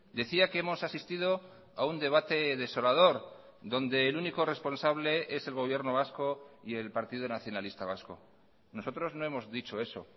decía que hemos asistido a un debate desolador donde el único responsable es el gobierno vasco y el partido nacionalista vasco nosotros no hemos dicho eso